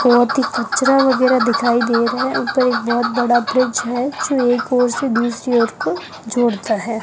बहुत ही कचरा वगैरह दिखाई दे रहा है ऊपर एक बहुत बड़ा फ्रिज है जो एक ओर से दूसरी ओर को जोड़ता है।